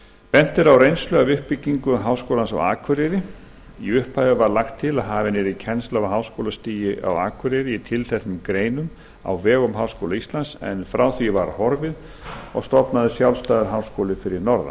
bent er á reynslu af uppbyggingu háskólans á akureyri í upphafi var lagt til að hafin yrði kennsla á háskólastigi á akureyri í tilteknum greinum á vegum háskóla íslands en frá því var horfið og stofnaður sjálfstæður háskóli fyrir norðan